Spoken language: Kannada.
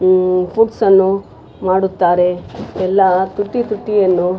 ಆಹ್ಹ್ ಫುಡ್ಸನ್ನು ಮಾಡುತ್ತಾರೆ ಎಲ್ಲಾ ತುಟಿ ತುಟಿಯಲ್ಲೂ --